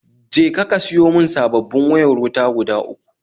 Je ka ka siyo mun sabobin wayar wuta guda uku